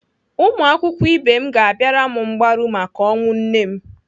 Ụmụakwụkwọ ibe m ga-abịara m mgbaru maka ọnwụ nne m.